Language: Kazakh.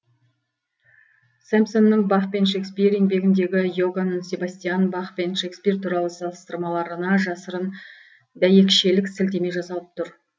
сэмпсонның бах пен шекспир еңбегіндегі иоганн себастьян бах пен шекспир туралы салыстырмаларына жасырын дәйекшелік сілтеме жасалып тұр